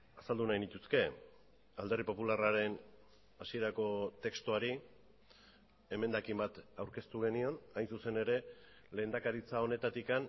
azaldu nahi nituzke alderdi popularraren hasierako testuari emendakin bat aurkeztu genion hain zuzen ere lehendakaritza honetatik